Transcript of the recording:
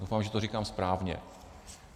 Doufám, že to říkám správně.